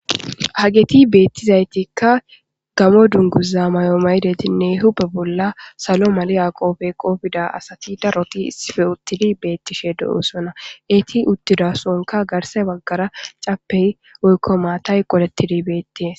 hageti beettizaytikka gamo dunguza may7o maydetinne hupe bolla salo mali yaqoofe qoofida asati daroti sife uttidi beettishe do7oosona eeti uttida sonka garse baggara cappey oykko maatay qolettidi beettees